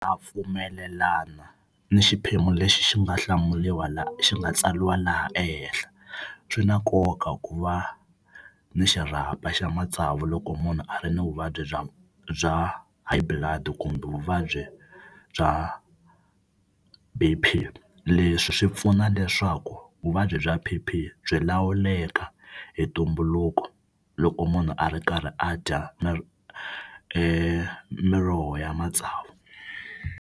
Na pfumelelana ni xiphemu lexi xi nga hlamuriwa xi nga tsariwa laha ehehla. Swi na nkoka ku va ni xirhapa xa matsavu loko munhu a ri ni vuvabyi bya bya high blood kumbe vuvabyi bya B_P. Leswi swi pfuna leswaku vuvabyi bya P_P byi lawuleka hi ntumbuluko loko munhu a ri karhi a dya miroho ya matsavu.